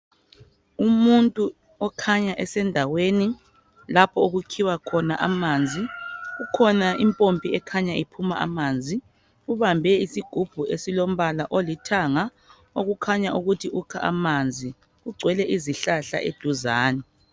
Umuntu okhanya esendaweni lapho okukhiwa khona amanzi. Kukhona impompi ekhanya iphuma amanzi. Ubambe isigubhu esilombala olithanga. Okukhanya ukuthi ukha amanzi. Kugcwele izihlahla eduzane.